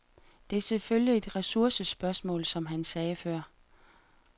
Det er selvfølgelig et ressourcespørgsmål, som han sagde før.